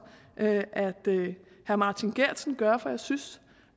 at herre martin geertsen gør for jeg synes